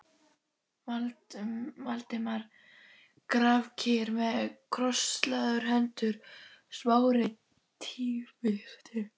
Valdimar grafkyrr með krosslagðar hendur, Smári tvístíg